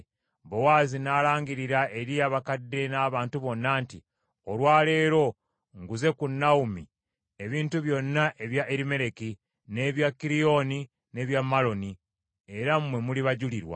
Bowaazi n’alangirira eri abakadde n’abantu bonna nti, “Olwa leero, nguze ku Nawomi ebintu byonna ebya Erimereki, n’ebya Kiriyoni n’ebya Maloni, era mmwe muli bajulirwa.